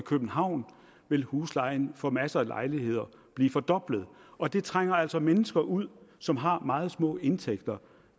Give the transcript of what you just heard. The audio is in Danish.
københavn vil huslejen for masser af lejligheder blive fordoblet og det trænger altså mennesker ud som har meget små indtægter